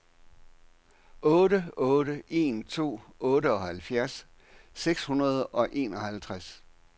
otte otte en to otteoghalvfjerds seks hundrede og enoghalvtreds